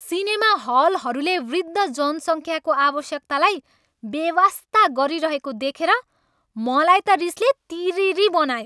Cinema हलहरूले वृद्ध जनसङ्ख्याको आवश्यकतालाई बेवास्ता गरिरहेको देखेर मलाई त रिसले तिरिरि बनायो।